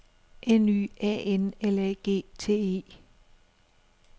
N Y A N L A G T E